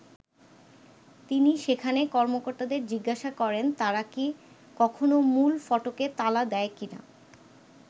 তিনি সেখানে কর্মকর্তাদের জিজ্ঞাসা করেন, তারা কি কখনো মূল ফটকে তালা দেয় কি না।